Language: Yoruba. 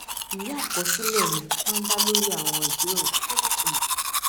ìwé àkọsílẹ̀ mi máa ń dá lórí àwọn ìjíròrò tó nítumọ̀